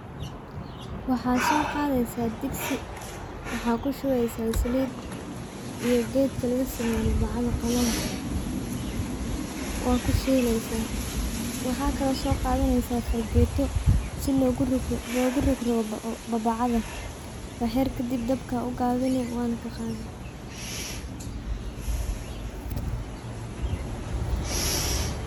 Waxaa so qaadeysa digsi waxaa kushubeysa salid iyo geedka lagaseeye mubacada qalonka. Waa ku shileysa waxaa kalo so qaadaneysa fargeeto si logu rogroga babacada waxyar kadib dabka u gabini waana ka qaadi.